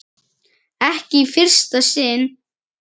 Ekki í fyrsta sinn.